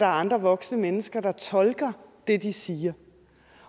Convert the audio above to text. andre voksne mennesker der tolker det de siger